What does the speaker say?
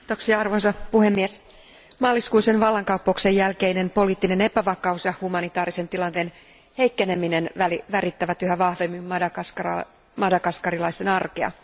Arvoisa puhemies, maaliskuisen vallankaappauksen jälkeinen poliittinen epävakaus ja humanitaarisen tilanteen heikkeneminen värittävät yhä vahvemmin madagaskarilaisten arkea.